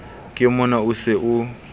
ke mona o se o